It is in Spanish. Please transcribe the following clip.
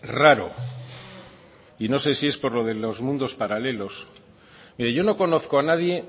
raro y no sé si es por lo de los mundos paralelos mire yo no conozco a nadie